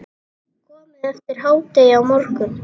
Komið eftir hádegi á morgun.